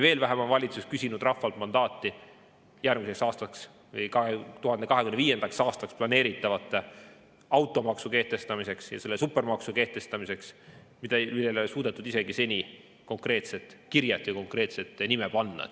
Veel vähem on valitsus küsinud rahvalt mandaati järgmiseks aastaks või 2025. aastaks planeeritava automaksu kehtestamiseks ja selle supermaksu kehtestamiseks, millele ei ole suudetud seni isegi konkreetset nime panna.